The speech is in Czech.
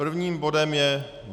Prvním bodem je